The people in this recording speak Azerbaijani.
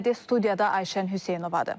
Studiyada Ayşən Hüseynovadır.